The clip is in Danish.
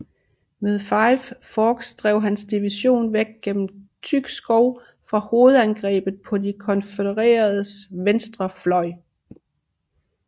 Ved Five Forks drev hans division væk gennem tyk skov fra hovedangrebet på de konfødereredes venstre fløj